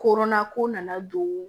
Koronna ko nana don